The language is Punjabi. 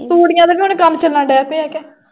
ਧੂੜੀਆਂ ਦੇ ਵੀ ਹੁਣ ਕੰਮ ਚੱਲਣ ਡੇ ਪਏ ਆ ਕੇ।